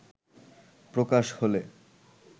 প্রকাশ হলে